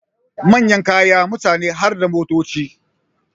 Manyan kaya, mutane harda motoci